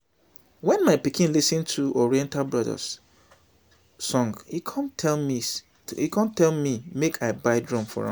wen my pikin lis ten to oriental brothers song e come tell me make i buy drum for am